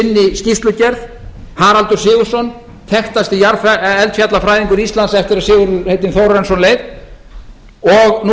sinni skýrslugerð haraldur sigurðsson þekktasti eldfjallafræðingur íslands eftir að sigurð heitinn þórarinsson leið og nú